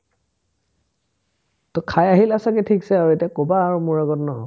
to খাই আহিলা ছাগে থিক্ছে আৰু এতিয়া ক'বা মোৰ আগত ন ?